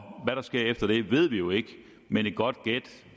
hvad der sker efter det ved vi jo ikke men et godt gæt